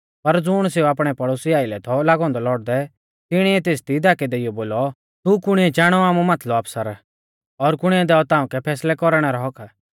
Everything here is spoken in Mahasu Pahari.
पर ज़ुण सेऊ आपणै पड़ोसी आइलै थौ लागौ औन्दौ लौड़दै तिणीऐ तेसदी धाकै देइऔ बोलौ तू कुणी चाणौ आमु माथलौ आफसर और कुणी दैणै ताउंकै फैसलै कौरणै रौ हक्क्क